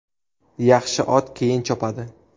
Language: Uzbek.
Yaxshi ot keyin chopadi.